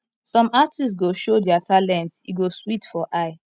some artist go show dia talent e go sweet for eye